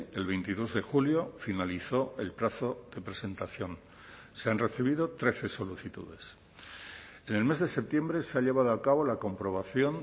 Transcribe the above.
el veintidós de julio finalizó el plazo de presentación se han recibido trece solicitudes en el mes de septiembre se ha llevado a cabo la comprobación